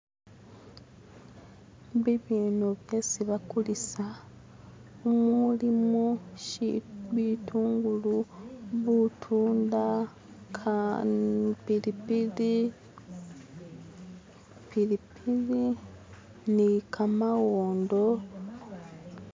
Bibyeno byesi bakulisa, mumulimo bitungulu, butunda, pilipili ni kamawondo.